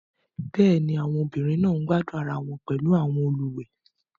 Bẹ́ẹ̀ ni, àwọn ọmọbìnrin náà ń gbádùn ara wọn pẹ̀lú àwọn olùwẹ̀.